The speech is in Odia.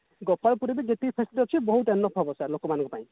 ଗୋପାଳ ପୁରେ ବି ଯେତିକି factory ଅଛି ବହୁତ enough ହବ ଲୋକ ମାନକ ପାଇଁ